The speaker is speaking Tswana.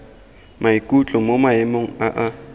maikutlo mo maemong a a